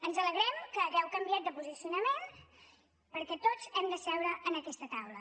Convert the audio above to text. ens alegrem que hàgiu canviat de posicionament perquè tots hem de seure en aquesta taula